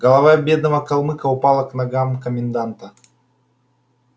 голова бедного калмыка упала к ногам коменданта